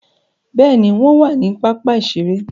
Béèni, wọn wà ni pápá iṣere